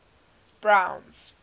browns